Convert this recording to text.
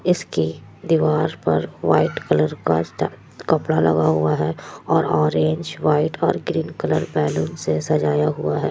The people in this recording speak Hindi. इसके दीवाल पर वाईट कलर का स्टे कपड़ा लगा हुआ है और ओरेंज वाईट और ग्रीन कलर बैलून से सजाया हुआ है।